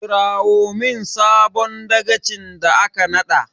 Kirawo min sabon dagacin da aka naɗa!